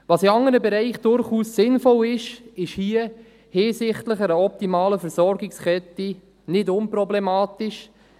Was in anderen Bereichen durchaus sinnvoll ist, ist hier, hinsichtlich einer optimalen Versorgungskette, nicht unproblematisch.